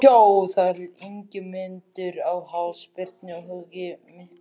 Hjó þá Ingimundur á háls Birni höggi miklu.